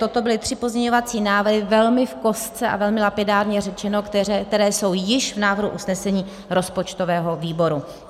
Toto byly tři pozměňovací návrhy, velmi v kostce a velmi lapidárně řečeno, které jsou již v návrhu usnesení rozpočtového výboru.